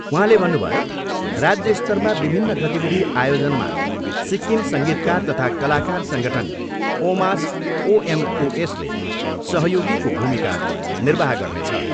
उहाँले भन्नुभयो, राज्य स्तरमा विभिन्न गतिविधि आयोजनमा सिक्किम सङ्गीतकार तथा कलाकार सङ्गठन ओमास ओएमओएसले सहयोगीको भूमिका निर्वाह गर्नेछ।